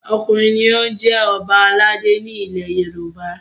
Ọkùnrin ni ó ń jẹ Ọba aládé ni ilẹ̀ Yorùbá!